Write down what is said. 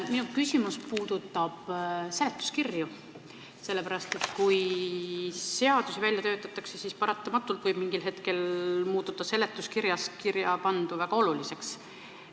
Minu küsimus puudutab seletuskirju, sest kui seadus välja töötatakse, siis paratamatult võib mingil hetkel muutuda seletuskirjas kirjapandu väga oluliseks.